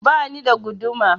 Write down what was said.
Bani da guduma